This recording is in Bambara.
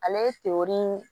Ale ye tewirii